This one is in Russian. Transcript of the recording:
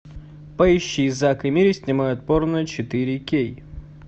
поищи зак и мири снимают порно четыре кей